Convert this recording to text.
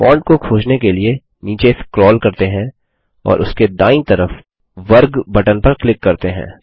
font को खोजने के लिए नीचे स्क्रोल करते हैं और उसके दायीं तरफ वर्गस्क्वेयर बटन पर क्लिक करते हैं